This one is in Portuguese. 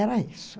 Era isso.